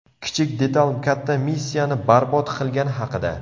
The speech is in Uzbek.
Kichik detal katta missiyani barbod qilgani haqida.